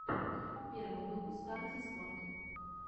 первый выпуск арти спорт